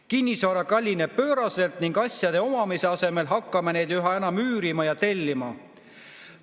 Kinnisvara kallineb pööraselt ning asjade omamise asemel hakkame neid üha enam üürima ja tellima.